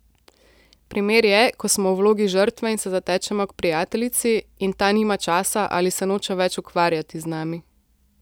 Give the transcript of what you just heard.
Primer je, ko smo v vlogi žrtve in se zatečemo k prijateljici in ta nima časa ali se noče več ukvarjati z nami.